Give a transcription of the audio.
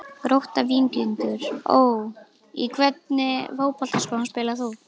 Grótta-Víkingur Ó Í hvernig fótboltaskóm spilar þú?